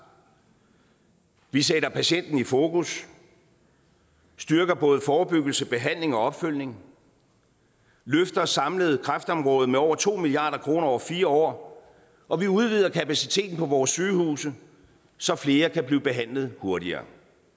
vi sætter patienten i fokus styrker både forebyggelse behandling og opfølgning løfter samlet kræftområdet med over to milliard kroner over fire år og vi udvider kapaciteten på vores sygehuse så flere kan blive behandlet hurtigere